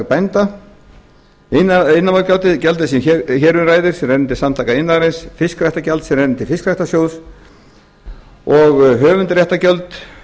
iðnaðarmálagjald sem hér um ræðir sem rennur til samtaka iðnaðarins fiskiræktargjald sem rennur til fiskiræktarsjóðs og höfundaréttargjöld